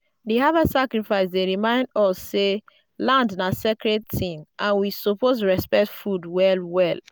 di harvest sacrifice dey remind us say land na sacred thing and we suppose respect food well well.